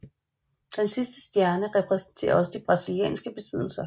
Den sidste stjerne repræsenterer også de brasilianske besiddelser